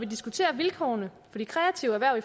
diskuterer vilkårene for de kreative erhverv